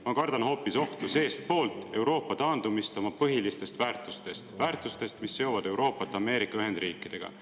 Ma kardan hoopis ohtu seestpoolt: Euroopa taandumist oma põhilistest väärtustest, väärtustest, mis seovad Euroopat Ameerika Ühendriikidega.